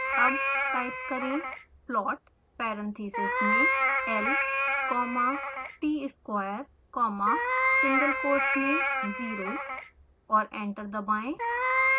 अब टाइप करें